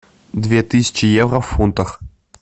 две тысячи евро в фунтах